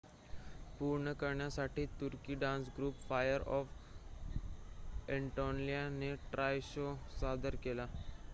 "पूर्ण करण्यासाठी तुर्की डान्स ग्रुप फायर ऑफ अ‍ॅनाटोलियाने "ट्रॉय" शो सादर केला.